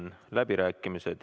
Seega sulgen läbirääkimised.